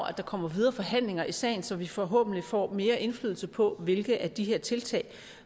at der kommer videre forhandlinger i sagen så vi forhåbentlig får mere indflydelse på hvilke af de her tiltag